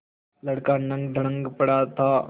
लड़का नंगधड़ंग पड़ा था